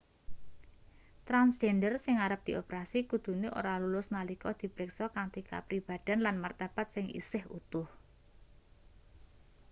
transjender sing arep dioperasi kudune ora lulus nalika di priksa kanthi kapribadhen lan martabat sing isih utuh